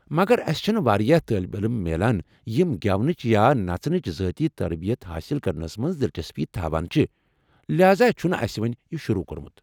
مگر اسہ چھ نہٕ واریاہ طٲلبہ علم میلان یم گٮ۪ونٕچ یا نژنٕچ ذٲتی تربیت حأصل کرنس منٛز دلچسپی تھاوان چھ ، لہذا چھُنہٕ اسہ وُنۍ یہِ شروع کوٚرمُت ۔